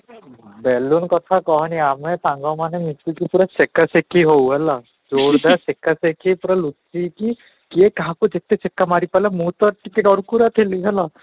balloon କଥା କହନି ଆମେ ସାଙ୍ଗ ମାନେ ମିଶିକି ପୁରା ସେକା ସେକି ହଉ ହେଲା, school ରେ ସେକା ସେକି ପୁରା ଲୁଚିକି କିଏ କାହାକୁ ଯେତେ ସେକା ମାରିପାରିଲା ମୁଁ ତ ଟିକେ ଡରକୁରା ଥିଲି ହେଲା